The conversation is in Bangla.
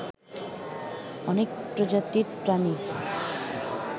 অনেক প্রজাতির প্রাণী